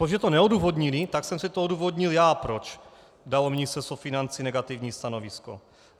Protože to neodůvodnili, tak jsem si to odůvodnil já, proč dalo Ministerstvo financí negativní stanovisko.